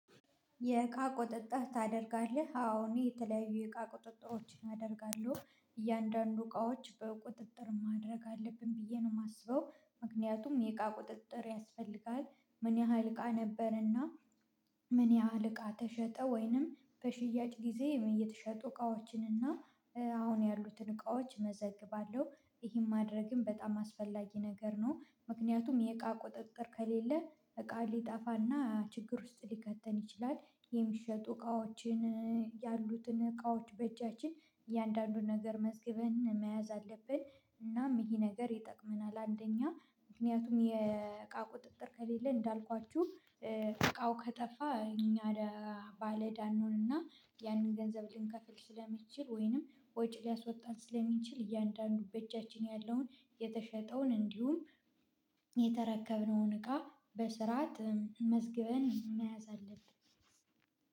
የእቃ ቁጥጥር ታደርጋለህ? አዎ እኔ የተለያዩ የእቃ ቁጥጥሮችን አደርጋለሁ እያንዳንዱ እቃዎች በቁጥጥር ማድረግ አለብን ብዬ ነው የማስበው ምክንያቱም የእቃ ቁጥጥር ያስፈልጋል ምን ያህል እቃ ነበርና ምን ያህል እቃ ተሸጠ ወይንም በሽያጭ ጊዜ የተሸጡ እቃዎችን እና አሁን ያሉትን እቃዎች እመዘግባለሁ ይሄን ማድረግም በጣም አስፈላጊ ነገር ነው ምክንያቱም የእቃ ቁጥጥር ከሌለ እቃ ሊጠፋና ችግር ውስጥ ሊከተን ይችላል የሚሸጡ እቃዎችን ያሉትን እቃዎች በእጃችን እያንዳንዱን ነገር መዝግበን መያዝ አለብን እናም ይሄ ነገር ይጠቅመናል አንደኛ ምክንያቱም የእቃ ቁጥጥር ከሌለ እንዳልኳችሁ እቃው ከጠፋ እኛ ባለዳ እንሆንና ያንን ገንዘብ ልንከፍል ስለሚችል ወይንም ወጪ ሊያስወጣን ስለሚችል እያንዳንዱ በእጃችን ያለውን የተሸጠውን እንዲሁም የተረከብነውን እቃ በስርዓት መዝግበን መያዝ አለብን